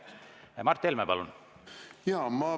Mart Helme, palun!